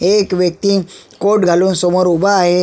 एक व्यक्ति कोट घालून समोर उभा आहे.